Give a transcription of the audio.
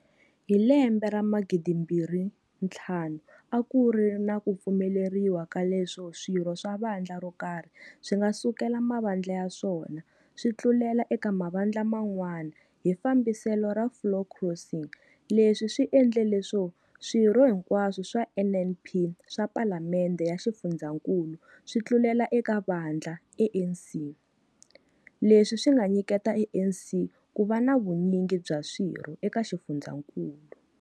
Hi lembe ra 2005 a ku ri na ku pfumeleriwa ka leswo swirho swa vandla ro karhi swi nga sukela mavandla ya swona swi tlulela eka mavandla man'wana hi fambiselo ra floor crossing leswi swi endle leswo swirho hinkwaswo swa NNP swa Palamende ya Xifundzhankulu swi tlulela eka vandla ANC, leswi swi nga nyiketa ANC ku va na vunyingi bya swirho eka xifundzhankulu.